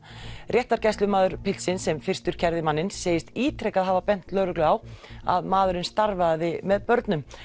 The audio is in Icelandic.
réttargæslumaður piltsins sem fyrstur kærði manninn segist ítrekað hafa bent lögreglu á að maðurinn starfaði með börnum